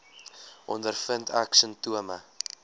ondervind ek simptome